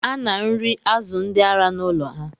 A na-nri azu ndị ara n’ụlọ ha